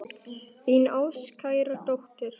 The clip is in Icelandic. Þín ástkæra dóttir.